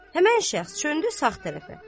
Həmin şəxs döndü sağ tərəfə.